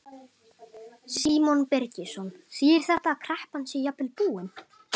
Símon Birgisson: Þýðir þetta að kreppan sé jafnvel búin?